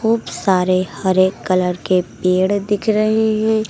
खूब सारे हरे कलर के पेड़ दिख रहे हैं।